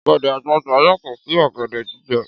Ọ̀gẹ̀dẹ̀ àgbagbà yàtọ̀ sí ọ̀gẹ̀dẹ̀ jíjẹ